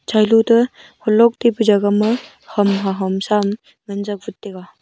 chailo toh holok ngan tega.